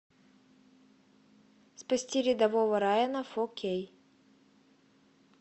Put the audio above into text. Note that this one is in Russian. спасти рядового райана фо кей